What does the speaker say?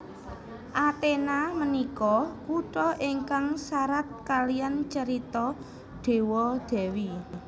Athena menika kuto ingkang sarat kaliyan carito dewa dewi